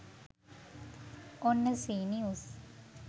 ඔන්න සී නිවුස්